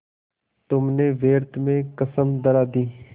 तुमने व्यर्थ में कसम धरा दी